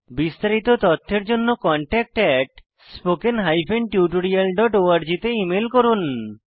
বিস্তারিত তথ্যের জন্য contactspoken tutorialorg তে ইমেল করুন